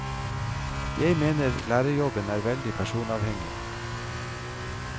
Jeg mener lærerjobben er veldig personavhengig.